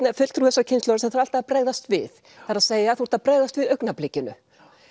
er fulltrúi þessarar kynslóðar sem þarf alltaf að bregðast við það er að þú ert að bregðast við augnablikinu